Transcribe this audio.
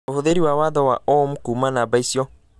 ũhũthĩre watho wa Ohm kuuma namba icio